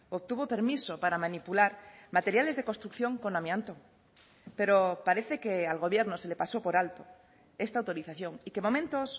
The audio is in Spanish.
obtuvo permiso para manipular materiales de construcción con amianto pero parece que al gobierno se le pasó por alto esta autorización y que momentos